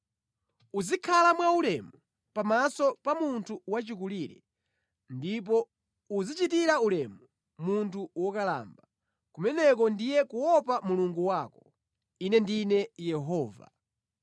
“ ‘Muzikhala mwa ulemu pamaso pa munthu wachikulire, ndipo muzichitira ulemu munthu wokalamba. Kumeneko ndiye kuopa Mulungu wanu. Ine ndine Yehova.